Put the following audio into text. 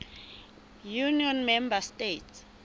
union member states